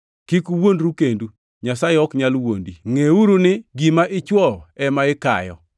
Kik uwuondru kendu, Nyasaye ok nyal wuondi. Ngʼeuru gima ichwoyo ema ikayo.